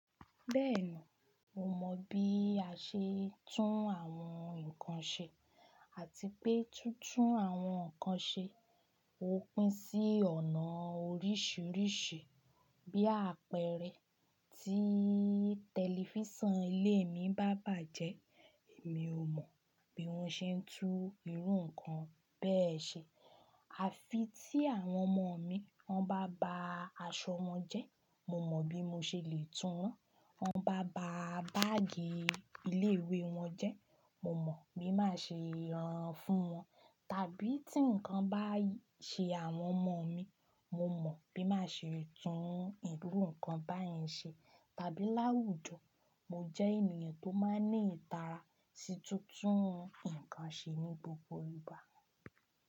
Bẹ́ẹ̀ni, mo mọ bí a ṣe ń tún àwọn nǹkan ṣe àti pé títún àwọn nǹkan ṣe ó pín sí ọ̀nà oríṣìíríṣìí bí àpẹẹrẹ tí tẹlifíṣàn ilé mi bá bàjẹ́ mi ò mọ̀ bí wọ́n ṣe ń tún irú nǹkan bẹ́ẹ̀ ṣe àfi tí àwọn ọmọ mi wọ́n bá ba aṣọ wọn jẹ́ mo mọ bí mo ṣe lè tún wọ́n, wọ́n bá ba báàgì ilé ìwé wọn jẹ́ mo mọ̀ bí màá ṣe rán an fún wọn, tàbí tí nǹkan bá ṣe àwọn ọmọ mi mo mọ bí màá ṣe tún irú nǹkan báyẹn ṣe tàbí láwùjọ mo jẹ́ ènìyàn tó máa ń ní ìtara sí títún nǹkan ṣe ní gbogbo ìgbà.